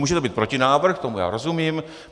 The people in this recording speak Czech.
Může to být protinávrh, tomu já rozumím.